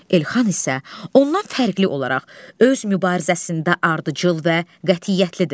Elxan isə ondan fərqli olaraq öz mübarizəsində ardıcıl və qətiyyətlidir.